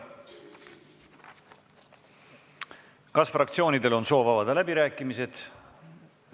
Kas fraktsioonidel on soovi avada läbirääkimisi?